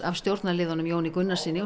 af stjórnarliðunum Jóni Gunnarssyni og